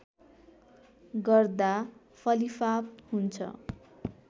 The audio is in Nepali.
गर्दा फलिफाप हुन्छ